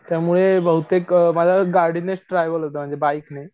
त्यामुळे बहुतेक माझं बहुतेक गाडीनेच ट्रॅव्हल होत म्हणजे बाईक ने.